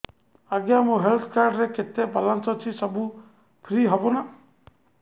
ଆଜ୍ଞା ମୋ health card ରେ କେତେ ବାଲାନ୍ସ ଅଛି ସବୁ ଫ୍ରି ହବ ନାଁ